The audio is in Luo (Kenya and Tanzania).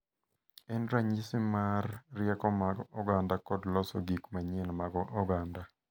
En ranyisi mar rieko mag oganda kod loso gik manyien mag oganda,